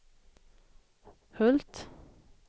Hult